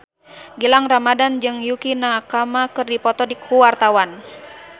Gilang Ramadan jeung Yukie Nakama keur dipoto ku wartawan